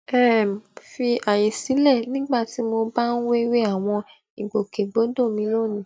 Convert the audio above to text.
um fi àyè sílè nígbà tí mo bá ń wéwèé àwọn ìgbòkègbodò mi lónìí